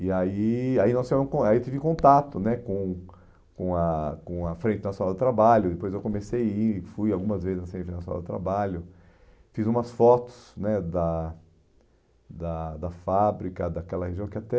E aí aí nós tivemos con aí tive contato né com com a com a Frente Nacional do Trabalho, depois eu comecei a ir, fui algumas vezes na Frente Nacional do Trabalho, fiz umas fotos né da da da fábrica, daquela região que até...